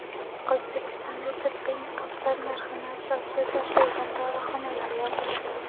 O‘zbekistonda tibbiy niqoblar narxini asossiz oshirgan dorixonalar yopiladi.